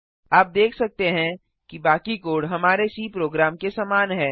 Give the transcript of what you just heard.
आप देख सकते हैं कि बाकी कोड हमारे सी प्रोग्राम के समान है